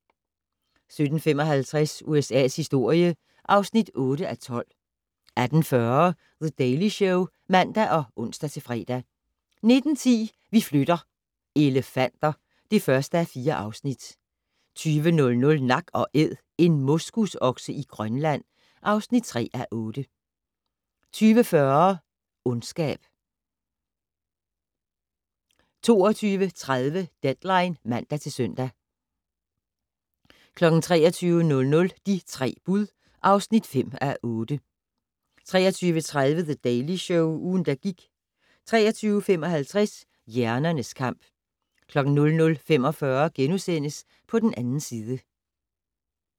17:55: USA's historie (8:12) 18:40: The Daily Show (man og ons-fre) 19:10: Vi flytter - elefanter (1:4) 20:00: Nak & Æd - en moskusokse i Grønland (3:8) 20:40: Ondskab 22:30: Deadline (man-søn) 23:00: De tre bud (5:8) 23:30: The Daily Show - ugen, der gik 23:55: Hjernernes kamp 00:45: På den 2. side *